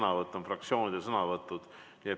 Need kõik on fraktsioonide sõnavõtud.